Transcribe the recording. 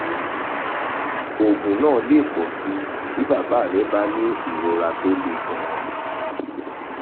oògùn náà lè pọ̀ sí i bí bàbá rẹ bá ní ìrora tó le gan-an